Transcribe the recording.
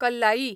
कल्लाई